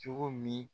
Cogo min